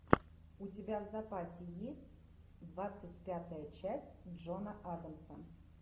у тебя в запасе есть двадцать пятая часть джона адамса